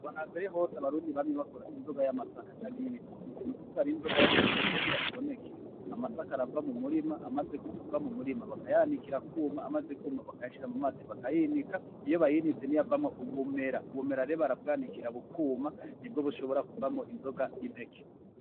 Kuva nambere hose abarundi bamye bakora inzoga y'amasaka cane y'ibitoke. Ni ukuvuga rero inzoga y'amasaka kugira iboneke amasaka arava mu murima, amaze kuva mu murima bakayanikira akuma, amaze kwuma bakayashira mu mazi bakayinika, iyo bayinitse niyo avamwo ubumera. Ubumera rero barabwanikira bukuma, nibwo bushobora kuvamwo inzoga y'impeke.